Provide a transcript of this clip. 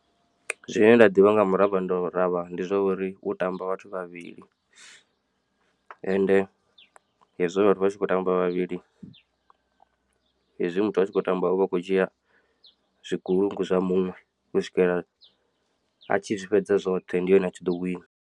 Zwine nda ḓivha nga muravharavha ndi zwa uri u tamba vhathu vhavhili ende hezwo vhathu vha tshi khou tamba vha vhavhili hezwi muthu a tshi khou tamba uvha akho dzhia zwigulungu zwa muṅwe u swikela a tshi zwi fhedza zwoṱhe ndi hone a tshi ḓo wina.